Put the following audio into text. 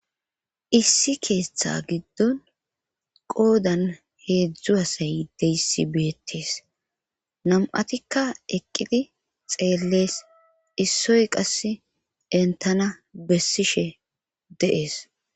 Issi keeththa giddon qoodan heedzdzu asay deyssi beettes nam'atikka eqqidi xeellees issoy qasse entana bessishe deees